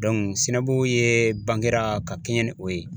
Sinabugu ye bangera ka kɛɲɛ ni o ye.